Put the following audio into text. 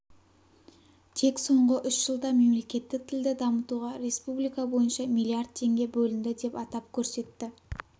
тек соңғы үш жылда мемлекеттік тілді дамытуға республика бойынша миллиард теңге бөлінді деп атап көрсетті